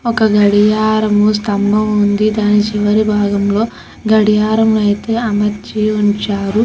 ఒక గడియారం సంబం వుంది ఆ చివరి బాగం లో గడియారం అయితే అమర్చి ఉంచారు.